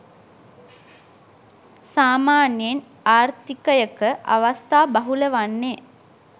සාමාන්‍යයෙන් ආර්ථිකයක අවස්ථා බහුල වන්නේ